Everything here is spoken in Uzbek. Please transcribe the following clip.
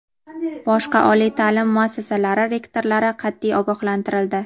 Boshqa oliy ta’lim muassasalari rektorlari qat’iy ogohlantirildi.